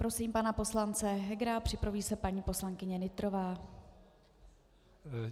Prosím pana poslance Hegera, připraví se paní poslankyně Nytrová.